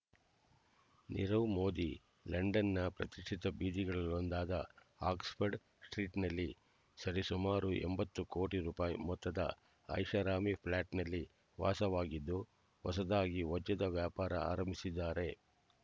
ನೀರವ್ ಮೋದಿ ಲಂಡನ್‌ನ ಪ್ರತಿಷ್ಠಿತ ಬೀದಿಗಳಲ್ಲೊಂದಾದ ಆಕ್ಸ್‌ಫರ್ಡ್ ಸ್ಟ್ರೀಟ್‌ನಲ್ಲಿ ಸರಿಸುಮಾರು ಎಂಬತ್ತು ಕೋಟಿ ರೂಪಾಯಿ ಮೊತ್ತದ ಐಷಾರಾಮಿ ಫ್ಲಾಟ್‌ನಲ್ಲಿ ವಾಸವಾಗಿದ್ದು ಹೊಸದಾಗಿ ವಜ್ಜದ ವ್ಯಾಪಾರ ಆರಂಭಿಸಿದ್ದಾರೆ